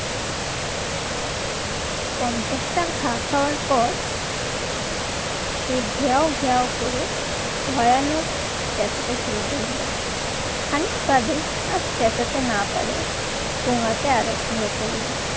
পঞ্চাশটা ঘা খাওয়ার পর সেই ঘেউ ঘেউ করে ভয়ানক চেঁচাতে শুরু করলো। খানিক বাদে আর চেঁচাতে না পারে গোনাতে আরো শুরু করলো।